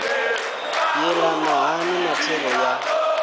yelana hani na thero ya